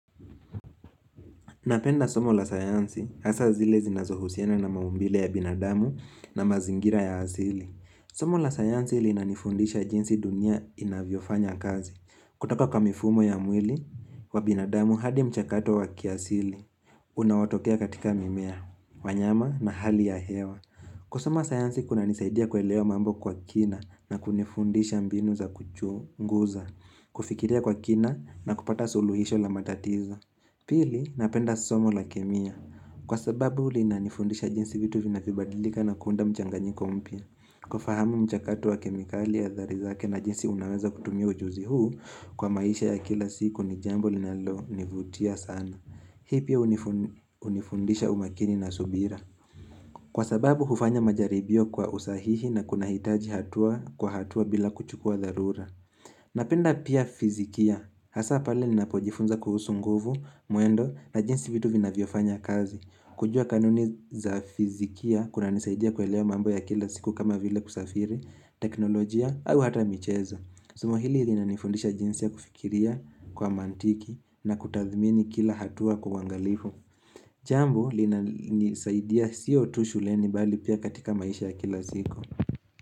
Napenda somo la sayansi hasa zile zinazohusiana na maumbile ya binadamu na mazingira ya asili. Somo la sayansi linanifundisha jinsi dunia inavyo fanya kazi. Kutoka kwa mifumo ya mwili wa binadamu hadi mchakato wa kiasili. Unaotokea katika mimea, wanyama na hali ya hewa. Kusoma sayansi kuna nisaidia kuelewa mambo kwa kina na kunifundisha mbinu za kuchu nguza. Kufikiria kwa kina na kupata suluhisho la matatizo. Pili napenda somo la kemia. Kwa sababu linanifundisha jinsi vitu vinavyobadilika na kuunda mchanganyiko mpya. Kufahamu mchakato wa kemikali athari zake na jinsi unaweza kutumia ujuzi huu kwa maisha ya kila siku ni jambo linalo nivutia sana. Hii pia hunifundisha umakini na subira. Kwa sababu hufanya majaribio kwa usahihi na kunahitaji hatua kwa hatua bila kuchukua dharura. Napenda pia fizikia, hasa pale nina pojifunza kuhusu nguvu, mwendo na jinsi vitu vinavyofanya kazi kujua kanuni za fizikia kuna nisaidia kuelewa mambo ya kila siku kama vile kusafiri, teknolojia au hata michezo Somo hili linina nifundisha jinsi ya kufikiria kwa mantiki na kutathmini kila hatua kwa uangalifu Jambo lina nisaidia siyo tu shuleni bali pia katika maisha ya kila siku.